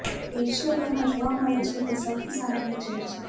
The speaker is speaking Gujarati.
તે વિશ્વભરમાં જોવા મળે છે તે સૌથી સામાન્ય ઝેર છે